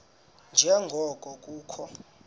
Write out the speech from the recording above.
nje ngoko kukho